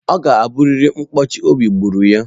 Ọ ga-abụrịrị na nkụchi obi gburu ya.